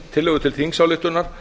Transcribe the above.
tillögu til þingsályktunar